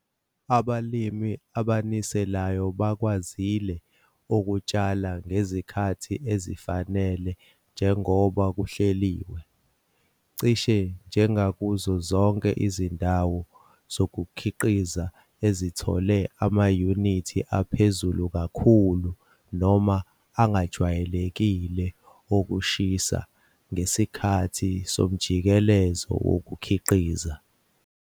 Abalimi abaniselayo bakwazile ukutshala ngezikhathi ezifanele njengoba kuhleliwe. Cishe njengakuzo zonke izindawo zokukhiqiza ezithole amayunithi aphezulu kakhulu noma angejwayelekile okushisa ngesikhathi somjikelezo wokukhiqiza.